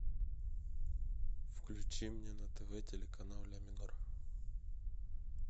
включи мне на тв телеканал ля минор